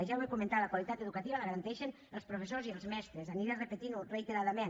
ja ho he comentat la qualitat educativa la garanteixen els professors i els mestres aniré repetint ho reiteradament